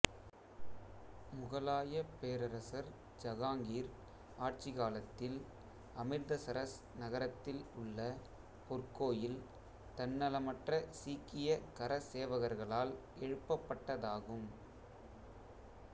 முகலாயப் பேரரசர் ஜகாங்கீர் ஆட்சிக் காலத்தில் அமிர்தசரஸ் நகரத்தில் உள்ள பொற்கோயில் தன்னலமற்ற சீக்கிய சமூக கரசேவகர்களால் எழுப்பட்டதாகும்